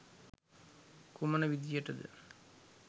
කුමන විධියට ද?